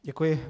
Děkuji.